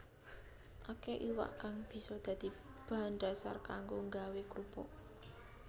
Akéh iwak kang bisa dadi bahan dhasar kanggo nggawé krupuk